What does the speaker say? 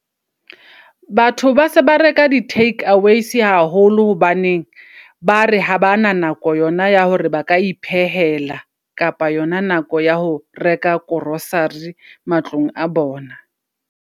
Batho base ba reka di -takeaways haholo. Hobaneng bare ha bana nako yona ya hore ba ka iphehela. Kapa yona nako ya ho reka -grocery matlong a bona.